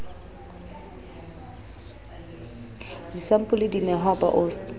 disampole di nehwa ba osts